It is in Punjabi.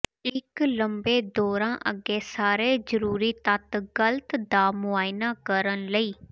ਇੱਕ ਲੰਬੇ ਦੌਰਾ ਅੱਗੇ ਸਾਰੇ ਜ਼ਰੂਰੀ ਤੱਤ ਗਲਤ ਦਾ ਮੁਆਇਨਾ ਕਰਨ ਲਈ